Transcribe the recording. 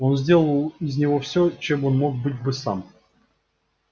он сделал из него всё чем он мог бы быть сам